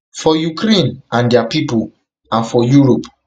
for ukraine and dia pipo and for europe